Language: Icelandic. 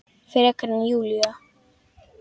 Frekar en Júlía.